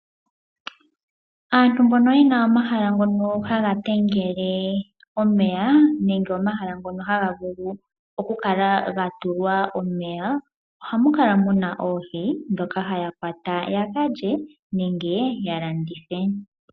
Aantu mbono yena omahala ngono haga vulu oku kala mwa tulwa omeya. Ohamu kala muna oohi ndhoka haya kwata ya ka lye nenge ya landithe.